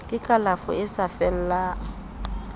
ke kalafo e sa fellang